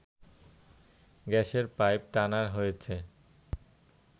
গ্যাসের পাইপ টানা হয়েছে